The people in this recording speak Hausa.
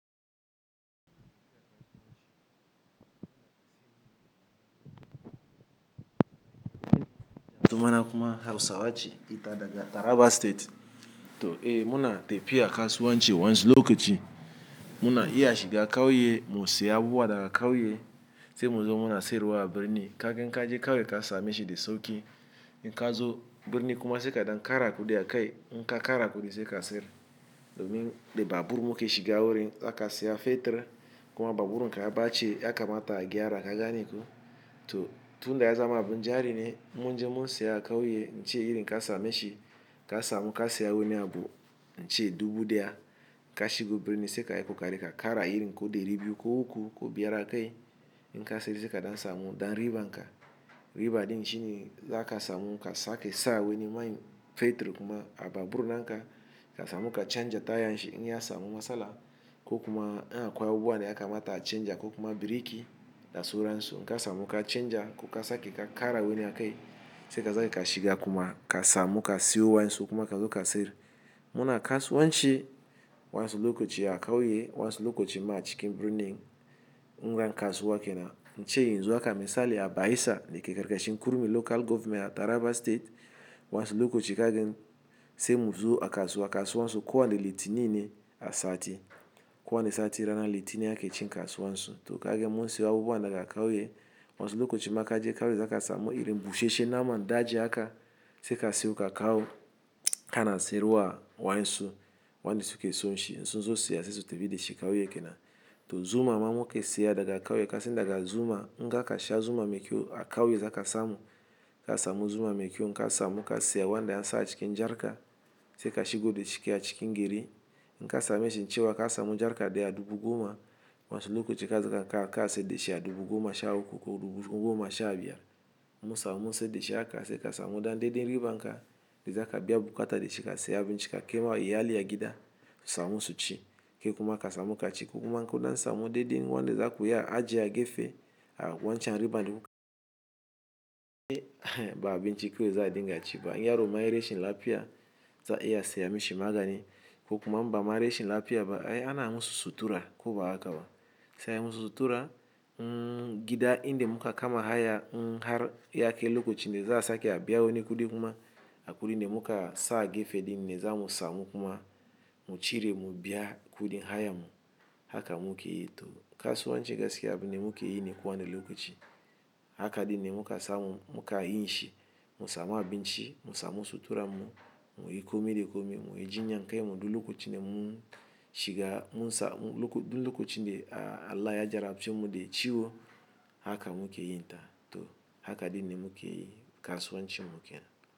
Tumana kuma, Hausawa ce ita daga Taraba State. To eh muna tafiya kasuwanci waƴansu lokaci, muna iya shiga ƙauye mu siya abubuwa daga ƙauye sai mu zo muna sayarwa a birni, kagan in kaje ƙauye ka same shi da sauƙi. In ka zo birni kuma sai ka ɗan ƙara kuɗi a kai, in ka ƙara kuɗi sai ka sayar. Domin da babur muke shiga wurin, zaka siya fetur kuma babur in ka ya ɓaci ya kamata a gyara, ka gane ko. To, tunda ya zama abin jari ne in mun je mun siya a ƙauye, ince irin ka same shi ka samu ka siya wani abu ince dubu ɗaya ka shigo birni sai ka yi ƙoƙari ka ƙara irin ko ɗari biyu ko uku ko biyar a kai, in ka sayar sai ka ɗan samu ɗan riban ka. Riba ɗin shine zaka samu ka sake sa wani mai, fetur kuma a babur na ka, ka samu ka canja tayan shi in ya samu matsala ko kuma in akwai abubuwa da ya kamata a canja ko kuma biriki da suransu. In ka samu ka canja ko ka sake ka ƙara wani a kai sai ka sake ka shiga kuma ka samu ka siyo waƴansu kuma ka zo ka sayar. Muna kasuwanci waƴansu lokaci a ƙauye waƴansu lokaci ma a cikin birni. In ra kasuwa ke nan nce yin zuwa ka misali a Baissa da ke karkashin kurmi Local Government a Taraba State wanzu lokaci kagin sai mu zo a kasuwa kasuwan su kuwa ne liti nini a sati. Kuwa ne sati rana liti ne ake cin kasuwan su. To kagin mun siya abubuwa daga ƙauye wanzu lokaci ma kaje ƙauye za ka samu irin bushe shena man daji haka, sai ka siyo ka kawo kana sayarwa a wansu wanda su ke son shi. Sun zo siya sai su tafi da shi ƙauye ke nan. Toh zuma mamu ke siya daga ƙauye kasin daga zuma in ka kasha zuma mai kyau a ƙauye za ka samu ka samu. Zuma mai kyau in ka samu ka siya wanda yan sa a cikin jarka sai ka shigo da shi a cikin gari in ka same shi cewa ka samu jarka da ya dubu goma wanzu lokaci ka zaka ka kashe da shi ya dubu goma sha uku ko dubu goma sha biyar. Mu samu sai da shi aka sai ka samu ɗanɗeɗin riba in ka da za ka biya buƙata da shi ka siya abinci ka kema ya aliya gida sau musu ci. Ke kuma ka samu ka ci kuma in koɗan samu ɗeɗe wanda za ku ya ajiye a gefe a wancan riban duka. Ba abinci kawai za a dinga ci ba in yaroma ya yi rashin lafiya za iya a siya mishi magani ko kuma in bama rashin lafiya ba, eh ana musu sutura ko ba haka ba. Sai an musu sutura mm gida inda muka kama haya mm har yake lokacin da za a sake a biya wani kuɗi kuma a kuɗin da muka sa a gefe ɗin ne za mu samu kuma mu cire mu biya kuɗin haya mu. Haka muka yi. To kasuwanci gaskiya abin ne muka yi ne kuwa ne lokaci. Hakaɗin ne muka samu muka yi shi mu samu abinci mu samu sutura mu, mu yi kome da kome mu yi jinya kai muɗu lokacin da mun shiga mun sa lokacin da Allah ya gyara mutum da ciwo haka muka yi ta. To hakaɗin ne muka yi kasuwancin mu ke nan.